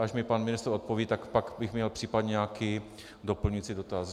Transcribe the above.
Až mi pan ministr odpoví, tak pak bych měl případně nějaký doplňující dotaz.